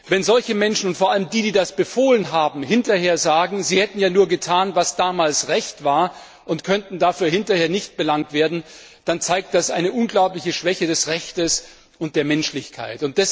Wenn solche Menschen und vor allem die, die das befohlen haben, hinterher sagen, sie hätten ja nur getan, was damals Recht war, und könnten dafür hinterher nicht belangt werden, dann zeigt das eine unglaubliche Schwäche des Rechts und der Menschlichkeit.